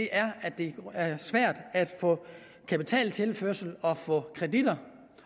er at det er svært at få kapitaltilførsel og kreditter